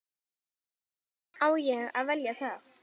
Á ég að velja það?